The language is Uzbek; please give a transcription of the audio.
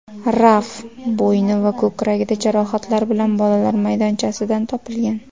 Raf bo‘yni va ko‘kragida jarohatlar bilan bolalar maydonchasidan topilgan.